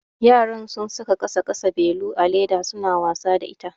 Yaran sun saka ƙasa ƙasa belu a leda suna wasa da ita.